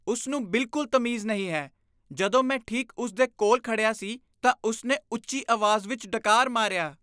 ਉਸ ਨੂੰ ਬਿਲਕੁਲ ਤਮੀਜ਼ ਨਹੀਂ ਹੈ। ਜਦੋਂ ਮੈਂ ਠੀਕ ਉਸ ਦੇ ਕੋਲ ਖੜਿਆ ਸੀ ਤਾਂ ਉਸ ਨੇ ਉੱਚੀ ਅਵਾਜ਼ ਵਿਚ ਡਕਾਰ ਮਾਰਿਆ।